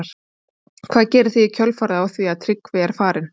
Hvað gerið þið í kjölfarið á því að Tryggvi er farinn?